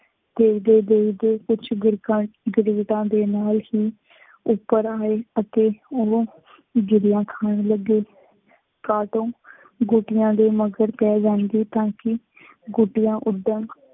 ਬੋਲਦੇ ਬੋਲਦੇ ਕੁੱਛ ਬੁਰਕਾਂ, ਗਿਰਦਾਂ ਦੇ ਨਾਲ ਹੀ ਉੱਪਰ ਆਏ ਅਤੇ ਉਹ ਗਿਰੀਆਂ ਖਾਣ ਲੱਗੇ। ਕਾਟੋਂ ਗੋਟੀਆਂ ਦੇ ਮਗਰ ਪੈ ਜਾਂਦੀ ਤਾਂ ਕਿ ਗੋਟੀਆਂ ਓਦਾਂ